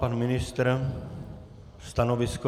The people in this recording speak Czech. Pan ministr - stanovisko?